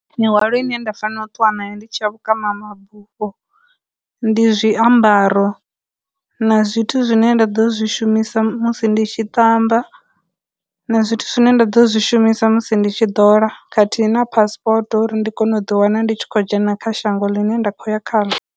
Mihwalo ine nda fanela ṱuwani ndi tsha vhukuma mabufho, ndi zwiambaro, na zwithu zwine nda ḓo zwi shumisa musi ndi tshi tamba, na zwithu zwine nda ḓo zwi shumisa musi ndi tshi ḓola, khathihi na passport uri ndi kone u ḓi wana ndi tshi khou dzhena kha shango ḽine nda khou ya khaḽo.